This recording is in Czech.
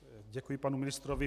Děkuji panu ministrovi.